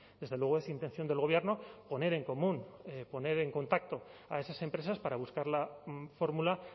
desde luego es intención del gobierno poner en común poner en contacto a esas empresas para buscar la fórmula